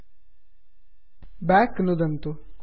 back back नुदन्तु